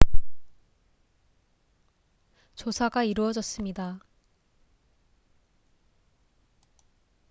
조사가 이루어졌습니다